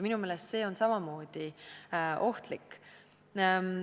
Minu meelest see on samamoodi ohtlik.